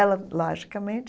Ela, logicamente.